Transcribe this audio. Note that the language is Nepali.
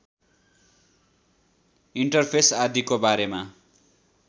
इन्टरफेस आदिको बारेमा